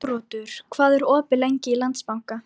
Þóroddur, hvað er opið lengi í Íslandsbanka?